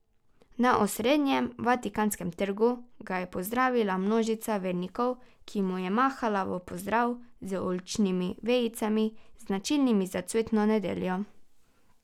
Na osrednjem vatikanskem trgu ga je pozdravila množica vernikov, ki mu je mahala v pozdrav z oljčnimi vejicami, značilnimi za cvetno nedeljo.